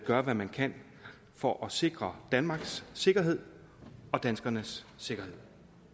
gør hvad man kan for at sikre danmarks sikkerhed og danskernes sikkerhed